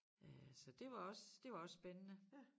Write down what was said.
Øh så det var også det var også spændende